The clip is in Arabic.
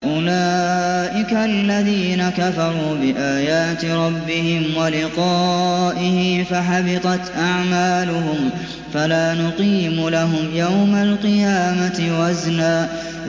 أُولَٰئِكَ الَّذِينَ كَفَرُوا بِآيَاتِ رَبِّهِمْ وَلِقَائِهِ فَحَبِطَتْ أَعْمَالُهُمْ فَلَا نُقِيمُ لَهُمْ يَوْمَ الْقِيَامَةِ وَزْنًا